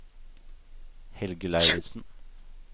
Helge Lauritzen